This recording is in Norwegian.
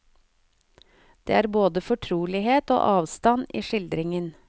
Det er både fortrolighet og avstand i skildringen.